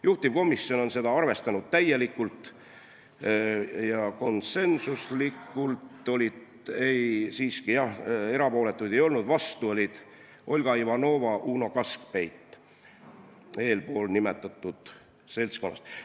Juhtivkomisjon on seda arvestanud täielikult, erapooletuid ei olnud, vastu olid Olga Ivanova ja Uno Kaskpeit eelnimetatud seltskonnast.